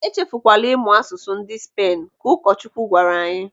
"Echefukwala ịmụ asụsụ ndị Spen," Ka ụkọchukwu gwara anyị.